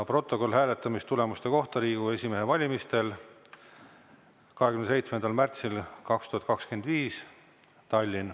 Protokoll hääletamistulemuste kohta Riigikogu esimehe valimisel Tallinnas 27. märtsil 2025.